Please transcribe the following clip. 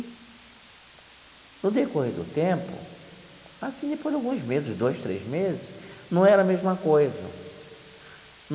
No decorrer do tempo, assim, depois de alguns meses, dois, três meses, não era a mesma coisa.